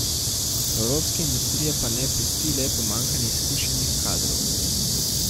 Evropske industrije pa ne pesti le pomanjkanje izkušenih kadrov.